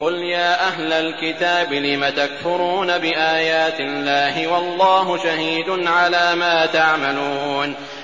قُلْ يَا أَهْلَ الْكِتَابِ لِمَ تَكْفُرُونَ بِآيَاتِ اللَّهِ وَاللَّهُ شَهِيدٌ عَلَىٰ مَا تَعْمَلُونَ